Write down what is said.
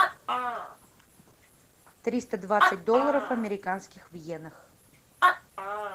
триста двадцать долларов американских в йенах